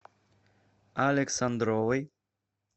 александровой